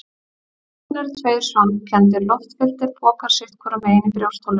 Lungun eru tveir svampkenndir, loftfylltir pokar sitt hvorum megin í brjóstholinu.